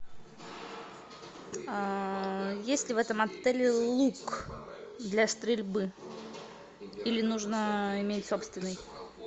есть ли в этом отеле лук для стрельбы или нужно иметь собственный